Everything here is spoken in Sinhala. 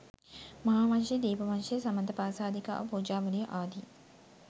මහාවංශය, දීප වංශය, සමන්ත පාසාදිකාව, පූජාවලිය ආදී